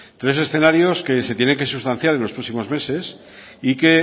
tres escenarios que se tiene que sustanciar en los próximos meses y que